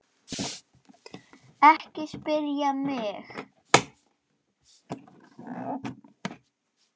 Ekki spyrja mig.